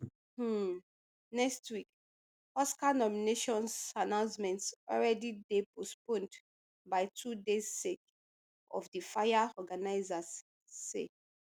um next week oscar nominations announcement already dey postponed by two days sake of di fire organizers say